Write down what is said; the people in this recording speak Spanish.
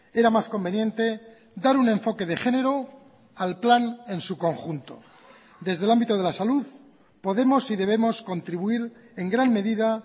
era más conveniente dar un enfoque de género al plan en su conjunto desde el ámbito de la salud podemos y debemos contribuir en gran medida